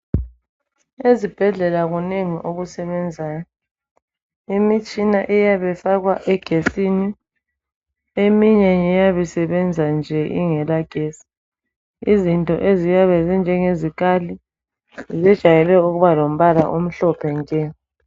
Ezibhedlela kunengi okusebenzayo. Imitshina iyabe ifakwa egetsini, eminye ngeyabe isebenza nje ingela getsi. Izinto eziyabe zinjenge zikali zijayele ukuba lombala omhlophe nke.